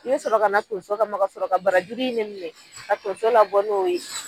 I be sɔrɔ kana tonso kama ka sɔrɔ ka barajuru in de minɛ ka tonso labɔ n'o ye